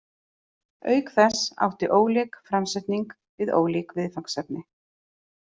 Auk þess átti ólík framsetning við ólík viðfangsefni.